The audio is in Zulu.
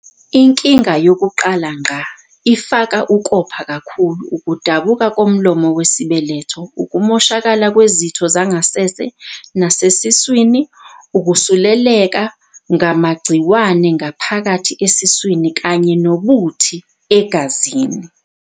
"Inkinga yokuqala ngqa ifaka ukopha kakhulu, ukudabuka komlomo wesibeletho, ukumoshakala kwezitho zangasese nasesiswini, ukusuleleka ngamagciwane ngaphakathi esiswini kanye nobuthi egazini."